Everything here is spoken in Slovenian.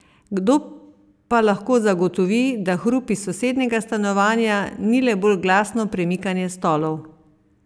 Kdo pa lahko zagotovi, da hrup iz sosednjega stanovanja ni le bolj glasno premikanje stolov?